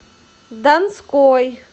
донской